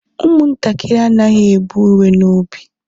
umuntakiri anaghi e bu iwe n'obi